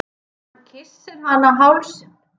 Hann kyssir hana á hálsinn.